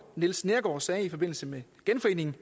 niels neergaard sagde i forbindelse med genforeningen